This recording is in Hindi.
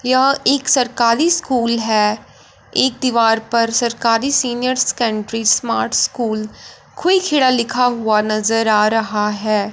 यह एक सरकारी स्कूल है एक दीवार पर सरकारी senior secondary smart school quick hair लिखा हुआ नजर आ रहा है।